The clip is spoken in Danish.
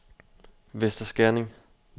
Vester Skerning